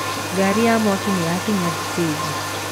Ngari ya mwaki nĩyakinya thitĩnji.